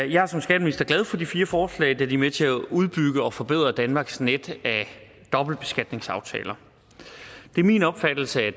jeg er som skatteminister glad for de fire forslag da de er med til at udbygge og forbedre danmarks net af dobbeltbeskatningsaftaler det er min opfattelse at